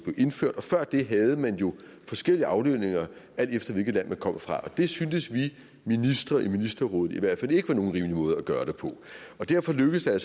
indført og før det havde man jo forskellige aflønninger alt efter hvilket land man kom fra det syntes vi ministre i ministerrådet i hvert fald ikke var nogen rimelig måde at gøre det på derfor lykkedes det